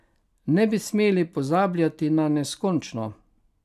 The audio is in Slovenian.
Ne bi smeli pozabljati na neskončno.